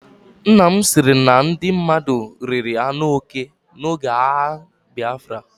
Nnam sịrị na ndị mmadụ riri anụ oke oge agha Biafra.